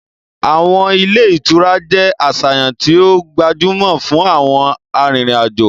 Awọn ile-itura jẹ aṣayan ti o gbajumo fun awọn arinrin-ajo